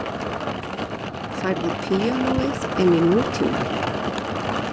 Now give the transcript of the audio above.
Færði píanóið inn í nútímann